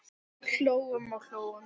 Hlógum og hlógum.